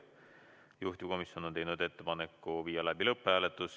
Juhtivkomisjon on teinud ettepaneku viia läbi lõpphääletus.